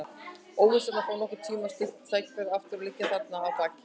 Óvissan um að fá nokkurn tíma slíkt tækifæri aftur liggur þarna að baki.